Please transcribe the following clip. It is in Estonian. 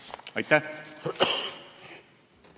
Aitäh!